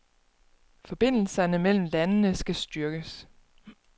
Forbindelserne mellem landene skal styrkes.